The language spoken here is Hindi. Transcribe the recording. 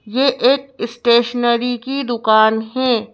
ये एक स्टेशनरी की दुकान है।